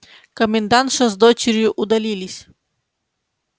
комендантша с дочерью удалились